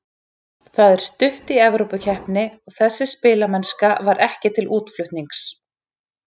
Það er stutt í Evrópukeppni og þessi spilamennska var ekki til útflutnings.